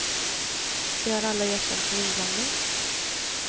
De har alla erkänt sin inblandning.